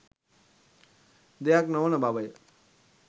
දෙයක් නොවන බවය